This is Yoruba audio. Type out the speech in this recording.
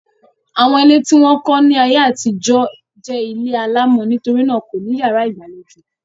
Àwọn ilé tí wọ́n kọ́ ni ayé àtijọ́ jẹ́ ilé alámọ̀ nítorí náà wọn kò ní yàrá ìgbàlejò.